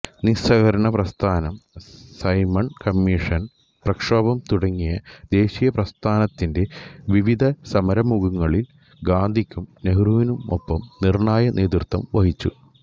നിസ്സഹകരണ പ്രസ്ഥാനം Simon commission പ്രക്ഷോഭം തുടങ്ങിയ ദേശീയ പ്രസ്ഥാനത്തിന്റെ വിവിധ സമരമുഖങ്ങളിൽ ഗാന്ധിക്കും നെഹ്റുവിനുമൊപ്പം നിർണ്ണായ നേതൃത്വം വഹിച്ചു